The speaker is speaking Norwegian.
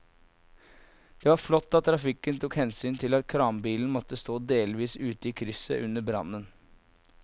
Det var flott at trafikken tok hensyn til at kranbilen måtte stå delvis ute i krysset under brannen.